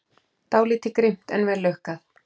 Dálítið grimmt, en vel lukkað.